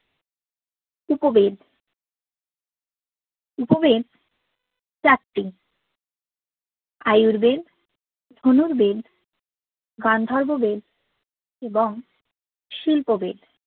উপবেদ উপবেদ চারটি আযুর্বেদ ধনুর্বেদ গান্ধর্ববেদ এবং শিল্পোবেদ